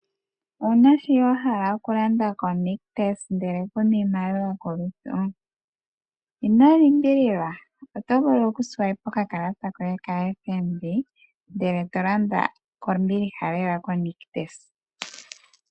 Owuna sho wahala okulanda ko Nictus ndele kuna iimaliwa kolutu? ino limbililwa, otovulu oku swipe okakalata koye ko FNB ndele to landa kombiliha lela ko Nictus.